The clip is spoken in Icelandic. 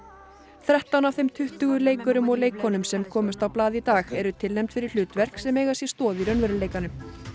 þrettán af þeim tuttugu leikurum og leikkonum sem komust á blað í dag eru tilnefnd fyrir hlutverk sem eiga sér stoð í raunveruleikanum